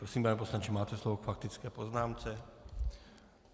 Prosím, pane poslanče, máte slovo k faktické poznámce.